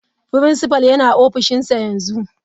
Principal yana ofishinsa yanzu.